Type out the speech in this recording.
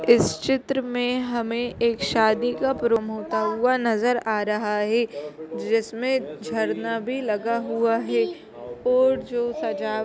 इस चित्र में हमें एक शादी का भ्रम होता हुआ नजर आ रहा है जिसमें झरना भी लगा हुआ है और जो सजावट--